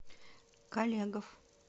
колегов